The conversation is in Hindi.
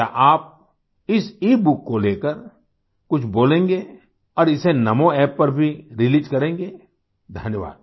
क्या आप इस ईबुक को लेकर कुछ बोलेंगे और इसे NamoApp पर भी रिलीज करेंगे धन्यवाद